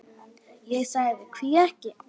Ég sagði: Hví ekki?